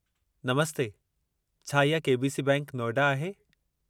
नमस्ते, छा इहा K. B. C. बैंकि, नोएडा आहे?